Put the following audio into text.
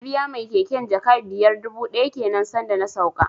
Na biya mai keken jaka biyar dubu ɗaya kenan san da na sauka